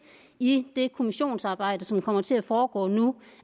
i det kommissionsarbejde som kommer til at foregå nu